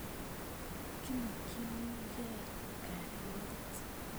Kimokchini key kalyet